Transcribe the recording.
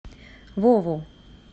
вову